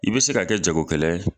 I be se ka kɛ jago kɛlɛ ye